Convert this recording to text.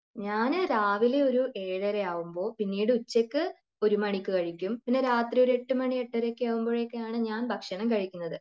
ഞാൻ രാവിലെ ഒരു ഏഴര ആകുമ്പോ, പിന്നീട് ഉച്ചക്ക് ഒരു മണിക്ക് കഴിക്കും. പിന്നെ രാത്രി ഒരു എട്ടു മണി എട്ടര ഒക്കെ ആകുമ്പോഴേക്കും ആണ് ഞാൻ ഭക്ഷണം കഴിക്കുന്നത്.